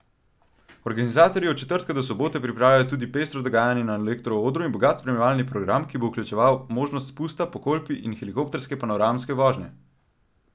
Organizatorji od četrtka do sobote pripravljajo tudi pestro dogajanje na elekro odru in bogat spremljevalni program, ki bo vključeval možnost spusta po Kolpi in helikopterske panoramske vožnje.